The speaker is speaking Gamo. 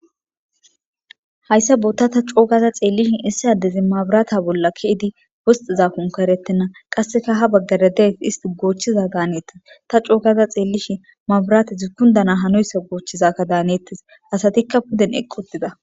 Hayssa bota ta coogaza xeellishin issi addezi mabirata bolla keidi wosxiza konkarettenna qasseka ha baggara deet isti goochchiza daanettes ta coogaza xeellishin mabirata zukundana hanoyssa goochchizakka daanettes asatikka puden eqqutida.